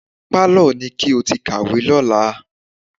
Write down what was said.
Pálọ̀ ni kí o ti kàwé lọ́la.